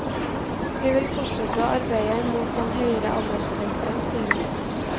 Vi vil fortsette å arbeide imot en høyere aldersgrense, sier hun.